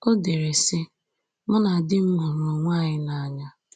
O dere, sị: “Mụ na di m hụrụ onwe anyị n’anya